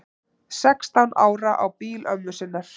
Sextán ára á bíl ömmu sinnar